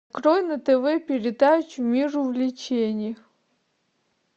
открой на тв передачу мир увлечений